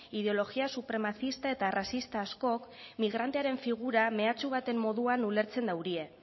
ideologia supremacista eta arrazista askok migrantearen figura mehatxu baten moduan ulertzen daurie